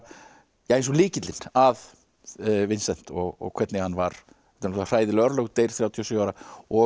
eins og lykillinn að og hvernig hann var þetta eru hræðileg örlög hann deyr þrjátíu og sjö ára og